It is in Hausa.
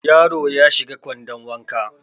Yaro ya shiga kwandon wanka